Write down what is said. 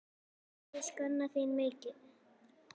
Hvað ég sakna þín mikið.